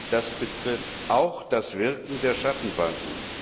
Das betrifft auch das Wirken der Schattenbanken.